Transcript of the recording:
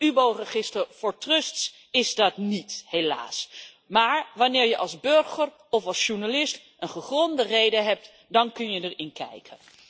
Het UBO register voor trusts is dat niet, helaas, maar wanneer je als burger of journalist een gegronde reden hebt, dan kun je erin kijken.